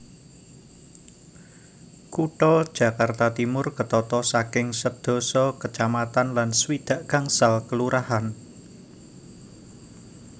Kutha Jakarta Timur ketata saking sedasa kecamatan lan swidak gangsal kelurahan